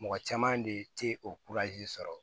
Mɔgɔ caman de tɛ o sɔrɔ